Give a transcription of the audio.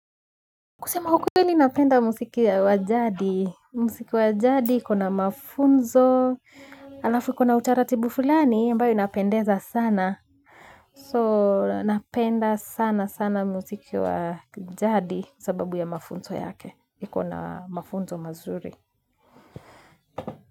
Kusema ukweli napenda musiki wa jadi, musiki wa jadi, kuna mafunzo, alafu kuna utaratibu fulani, ambao inapendeza sana, so napenda sana sana musiki wa jadi kwa sababu ya mafunzo yake, iko na mafunzo mazururi.